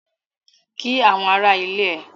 Kí àwọn ará ilé ẹ!